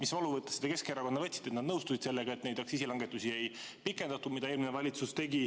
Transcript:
Mis valuvõttesse te Keskerakonna võtsite, et nad nõustusid sellega, et neid aktsiisilangetusi, mis eelmine valitsus tegi, ei pikendatud?